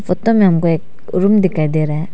Photo में हमको एक रूम दिखाई दे रहा है।